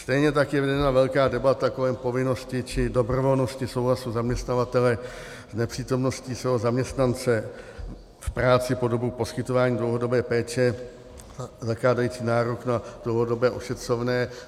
Stejně tak je vedena velká debata kolem povinnosti či dobrovolnosti souhlasu zaměstnavatele s nepřítomností svého zaměstnance v práci po dobu poskytování dlouhodobé péče zakládající nárok na dlouhodobé ošetřovné.